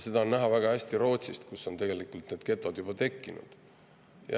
Seda on näha väga hästi Rootsis, kus on getod juba tekkinud.